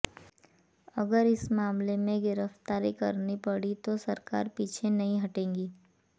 अगर इस मामले में गिरफ्तारी करनी पड़ी तो सरकार पीछे नहीं हटेगी